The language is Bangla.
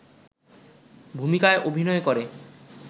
ভূমিকায় অভিনয় করে